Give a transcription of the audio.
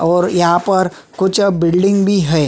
और यहाँ पर कुछ बिल्डिंग भी है।